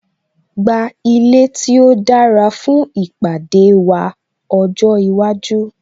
Gba ilé tí ó dára fún ìpàdé wa ọjọ́ iwájú